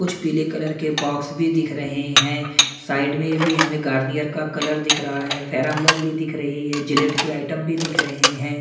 कुछ पीले कलर के बॉक्स भी दिख रहे हैं साइड में भी हमें गार्नियर का कलर दिख रहा है फैरम लवली दिख रही है जिलेट के आइटम भी दिख रहे हैं।